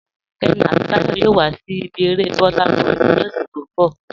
Kẹ́mí àti Táyọ̀ yòò wà sí ibi èrè Burnaboy ni ọṣẹ̀ tó nbọ̀.